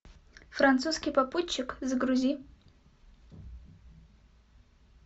французский попутчик загрузи